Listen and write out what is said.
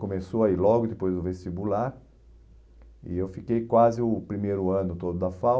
Começou aí logo depois do vestibular e eu fiquei quase o primeiro ano todo da FAU.